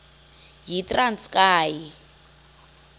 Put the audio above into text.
yitranskayi